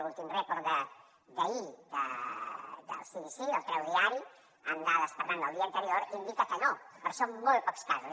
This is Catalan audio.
l’últim report d’ahir del cdc que el treu diari amb dades per tant del dia anterior indica que no però són molt pocs casos